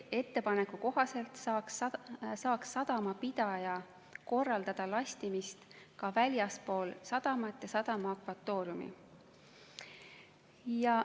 Ettepaneku kohaselt saaks sadamapidaja korraldada lastimist ka väljaspool sadamat ja sadama akvatooriumi.